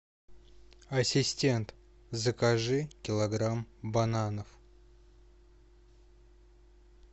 ассистент закажи килограмм бананов